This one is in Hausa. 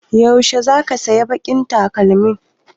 Yaushe zaka saya baƙin takalmin?